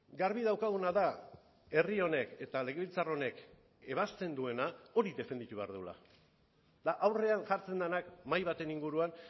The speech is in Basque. garbi daukaguna da herri honek eta legebiltzar honek ebasten duena hori defendatu behar dugula eta aurrean jartzen denak mahai baten inguruan